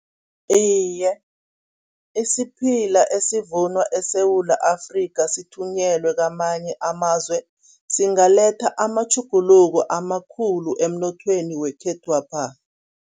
Iye, isiphila esivunwa eSewula Afrika sithunyelwe kwamanye amazwe, singaletha amatjhuguluko amakhulu emnothweni wekhethwapha.